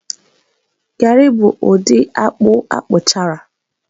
garị bụ ụdị akpụ akpụchara